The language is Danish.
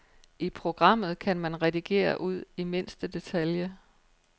I programmet kan man redigere ud i mindste detalje.